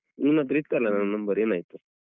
ನಿಮ್ಹತ್ರ ಇತ್ತಲ್ಲ ನನ್ನ number ಏನಾಯ್ತು?